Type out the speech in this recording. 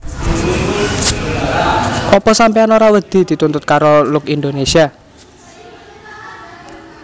Opo sampeyan ora wedi dituntut karo Look Indonesia?